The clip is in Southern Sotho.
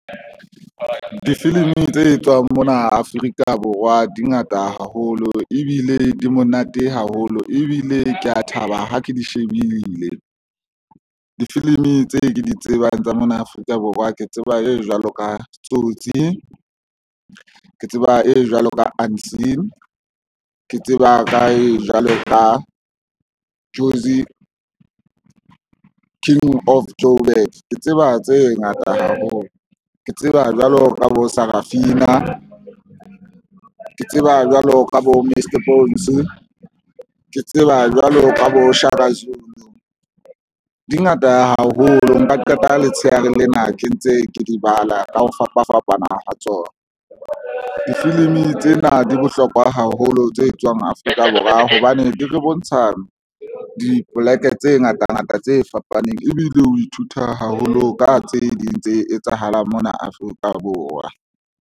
Difilimi tse etswang mona Afrika Borwa di ngata haholo ebile di monate haholo ebile ke a thaba ha ke di shebile difilimi tse ke di tsebang tsa mona Afrika Borwa. Ke tseba e jwalo ka Tsotsi, ke tseba e jwalo ka Aansien ke tseba ka e jwalo ka Jozi, King of Joburg. Ke tseba tse ngata haholo, ke tseba jwalo ka bo Sarafina, ke tseba jwalo ka bo Mr bones ke tseba jwalo ka bo Shaka Zulu dingata haholo nka qeta letsheare lena ke ntse ke di bala ka ho fapafapana ha tsona. Difilimi tsena di bohlokwa haholo tse etswang Afrika Borwa hobane di re bontsha dipoleke tse ngata ngata tse fapaneng ebile o ithuta haholo ka tse ding tse etsahalang mona Afrika Borwa.